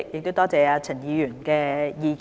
多謝陳議員的意見。